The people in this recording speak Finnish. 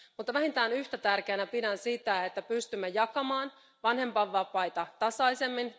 Mutta vähintään yhtä tärkeänä pidän sitä, että pystymme jakamaan vanhempainvapaita tasaisemmin.